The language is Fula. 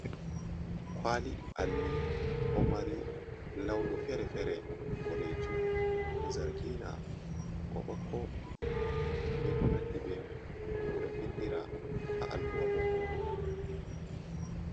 Kwali alli ɗo mari launi fere-fere boɗejum, zargina, ɓokko-ɓokko, be konandi be mai ɓeɗo vindira ha alluha bomoru.